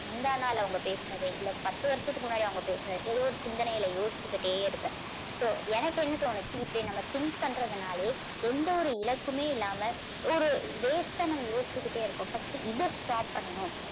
முந்தாநாள் அவங்க பேசுனது இல்ல பத்து வருஷத்துக்கு முன்னாடி அவங்க பேசுனது ஏதோ ஒரு சிந்தனையில யோசிச்சுக்கிட்டே இருப்பேன். so எனக்கு என்ன தோணுச்சு இப்படி நம்ம think பண்றதுனாலையே எந்த ஒரு இலக்குமே இல்லாம ஒரு waste ஆ நம்ம யோசிச்சுக்கிட்டே இருக்கோம். first இதை stop பண்ணணும்.